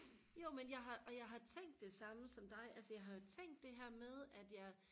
jo men jeg har og jeg har tænkt det samme som dig altså jeg har jo tænkt det her med at jeg